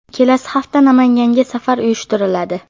Kelasi hafta Namanganga safar uyushtiriladi.